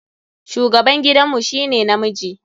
Shugaban gidan mu shi ne namiji.